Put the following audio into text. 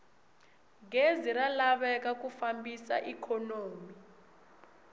gezi ra laveka ku fambisa ikhonomi